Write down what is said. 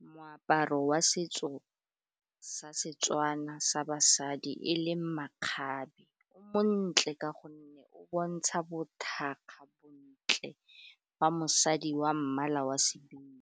Moaparo wa setso sa Setswana sa basadi e leng makgabe o montle ka gonne o bontsha bothakga, bontle ba mosadi wa mmala wa sebino.